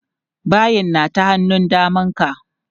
Bayin na ta hannun daman ka.